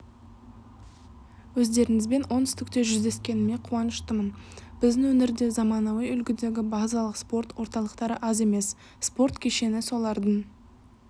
өздеріңізбен оңтүстікте жүздескеніме қуаныштымын біздің өңірде заманауи үлгідегі базалық спорт орталықтары аз емес спорт кешені солардың